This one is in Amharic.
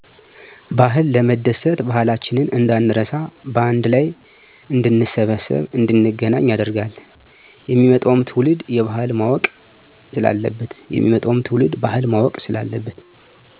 ባህል ለመደሰት ባህላችንን እንዳንረሳ በአንድ ላይ እንድንሰበሰብ እንድንገናኝ ያደርገናል። የሚመጣዉም ትዉልድ ባህል ማወቅ ስላለበት።